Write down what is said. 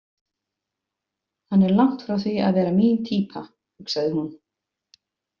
Hann er langt frá því að vera mín týpa, hugsaði hún.